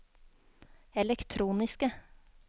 elektroniske